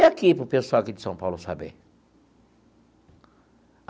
E aqui, para o pessoal aqui de São Paulo saber?